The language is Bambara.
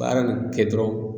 Baara nin kɛ dɔrɔn